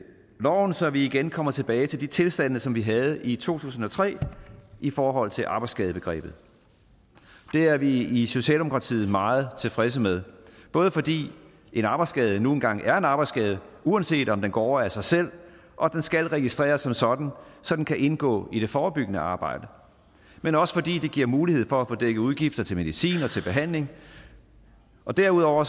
loven så vi igen kommer tilbage til de tilstande som vi havde i to tusind og tre i forhold til arbejdsskadebegrebet det er vi i socialdemokratiet meget tilfredse med både fordi en arbejdsskade nu engang er en arbejdsskade uanset om den går over af sig selv og den skal registreres som sådan så den kan indgå i det forebyggende arbejde men også fordi det giver mulighed for at få dækket udgifter til medicin og til behandling derudover